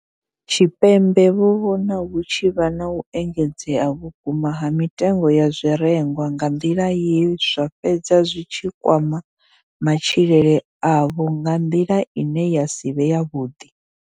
Tshipembe vho vhona hu tshi vha na u engedzea vhukuma ha mitengo ya zwirengwa nga nḓila ye zwa fhedza zwi tshi kwama matshilele avho nga nḓila ine ya si vhe yavhuḓi.